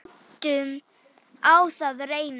Látum á það reyna.